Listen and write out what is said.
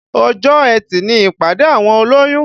Ọjọ́ etì ni ìpàdé àwọn olóyún